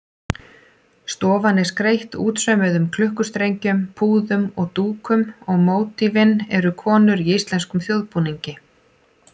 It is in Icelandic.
Stofan er skreytt útsaumuðum klukkustrengjum, púðum og dúkum og mótífin eru konur í íslenskum þjóðbúningi.